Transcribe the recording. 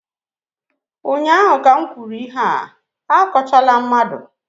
ụnyaahụ ka m kwuru ihe a, akọchala mmadụ!